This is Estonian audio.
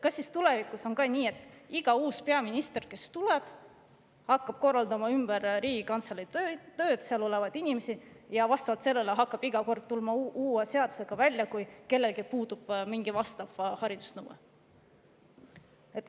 Kas tulevikus on ka siis nii, et iga uus peaminister tuleb ja hakkab korraldama ümber Riigikantselei tööd, seal olevaid inimesi, ning tuleb iga kord uue seadusega välja, kui kellelgi puudub mingile nõudele vastav haridus?